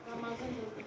Ramazan gəlib.